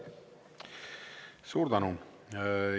Suur tänu!